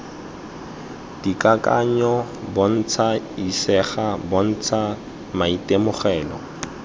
dikakanyo bontsha isegang bontsha maitemogelo